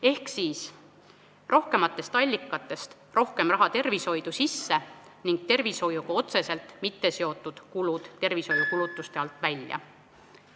Ehk rohkematest allikatest rohkem raha tervishoidu sisse ning tervishoiuga otseselt mitteseotud kulud tervishoiukulutuste alt välja.